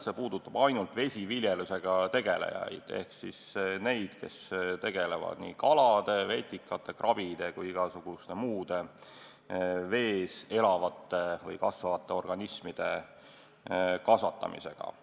See puudutab ainult vesiviljelusega tegelejaid ehk neid, kes tegelevad kalade, vetikate, krabide või igasuguste muude vees elavate või kasvavate organismide kasvatamisega.